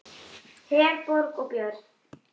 Herborg og Björn.